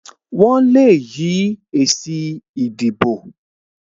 Wọn le yí èsì ìdìbò